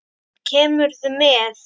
Kemurðu með?